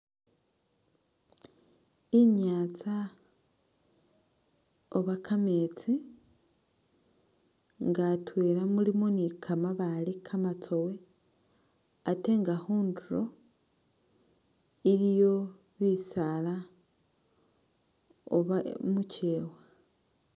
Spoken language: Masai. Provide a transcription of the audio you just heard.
Inyaatsa Oba kameetsi nga atwela mulimo ni kamabaale kamatsowe ate nga khunduro ,iliyo bisala oba mukyewa.